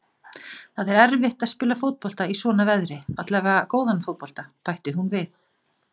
Það er erfitt að spila fótbolta í svona veðri, allavega góðan fótbolta, bætti hún við.